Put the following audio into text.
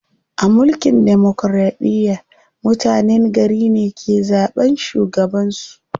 A mulkin demokiraɗiya, mutenen gari ne ke zaɓan shugaban su.